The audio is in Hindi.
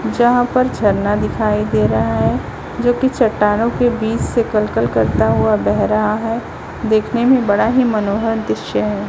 जहां पर झरना दिखाई दे रहा है जो की चट्टानों के बीच से कलकल करता हुआ बेह रहा है देखने में बड़ा ही मनोहर दृश्य है।